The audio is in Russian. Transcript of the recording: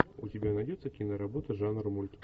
у тебя найдется киноработа жанра мульт